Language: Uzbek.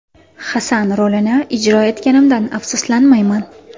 Hasan rolini ijro etganimdan afsuslanmayman.